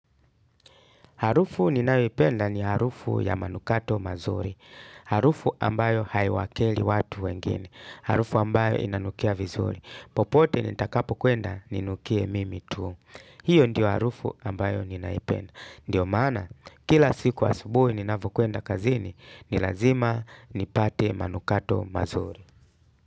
Harufu ninayoipenda ni harufu ya manukato mazuri. Harufu ambayo haiwakeri watu wengine. Harufu ambayo inanukia vizuri. Popote nitakapo kwenda, ninukie mimi tu. Hiyo ndio harufu ambayo ninaipenda. Ndiyo maana, kila siku asubuhi ninapo kwenda kazini, ni lazima nipate manukato mazuri.